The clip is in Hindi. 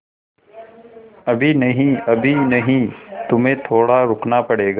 अभी नहीं अभी नहीं तुम्हें थोड़ा रुकना पड़ेगा